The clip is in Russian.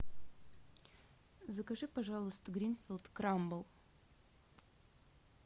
закажи пожалуйста гринфилд крамбл